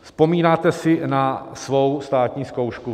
Vzpomínáte si na svou státní zkoušku?